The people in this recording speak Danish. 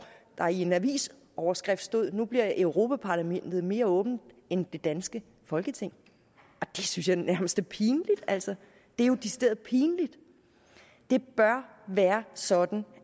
der i en avisoverskrift stod nu bliver europa parlamentet mere åbent end det danske folketing det synes jeg nærmest er pinligt altså det er jo decideret pinligt det bør være sådan